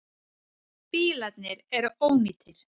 Bílarnir eru ónýtir.